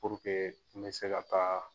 n bɛ se ka taa